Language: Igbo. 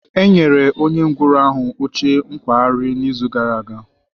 E nyere onye ngwọrọ ahụ oche nkwagharị n'izu gara aga.